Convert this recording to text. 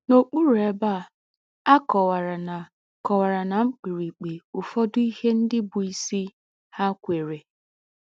N’ọkpụrụ ebe a, a kọwara ná kọwara ná mkpirikpi ụfọdụ ihe ndị bụ́ isi ha kweere.